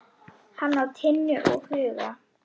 Hann á Tinnu og Huga.